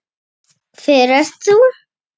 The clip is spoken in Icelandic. Hver ert þú?